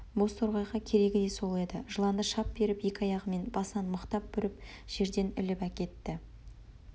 бозторғайға керегі де сол еді жыланды шап беріп екі аяғымен басынан мықтап бүріп жерден іліп әкетті